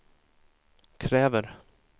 kräver